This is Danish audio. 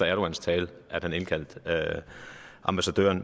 erdogans tale at han indkaldte ambassadøren